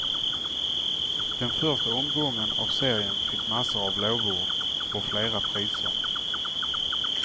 Den första omgången av serien fick massor av lovord och flera priser.